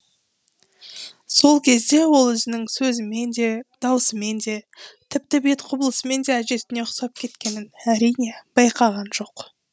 сол кезде ол өзінің сөзімен де даусымен де тіпті бет құбылысымен де әжесіне ұқсап кеткенін әрине байқаған жоқ